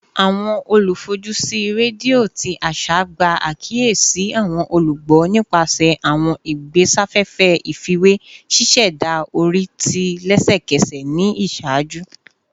Awọn olufojusi redio ti aṣa gba akiyesi awọn olugbo nipasẹ awọn igbesafefe ifiwe, ṣiṣẹda ori ti lẹsẹkẹsẹ ni iṣaaju